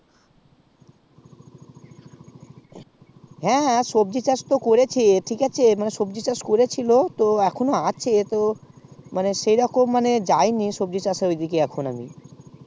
হ্যাঁ সবজির চাষ তো করেছি ঠিক আছে তো সবজির চাষ করেছিল মানে এখনো আছে তো সেইরোকম আমি যায়নি সবজির চাষ এর ঐদিকে এখন আমি